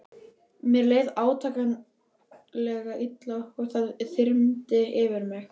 Mér leið átakanlega illa og það þyrmdi yfir mig.